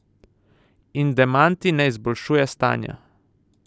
In demanti ne izboljšuje stanja.